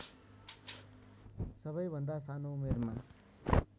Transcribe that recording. सबैभन्दा सानो उमेरमा